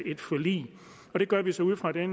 et forlig det gør vi så ud fra det